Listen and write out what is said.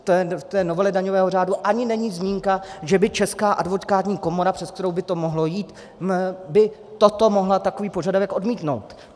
V té novele daňového řádu ani není zmínka, že by Česká advokátní komora, přes kterou by to mohlo jít, by toto mohla, takový požadavek, odmítnout.